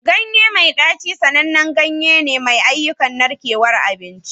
Ganye mai ɗaci sanannen ganye ne mai ayyukan narkewar abinci.